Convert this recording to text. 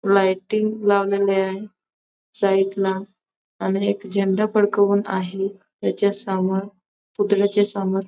lighting लावलेले आहे site ला आणि एक झेंडा फडकवून आहे त्याच्यासमोर पुतळ्याच्या समोर --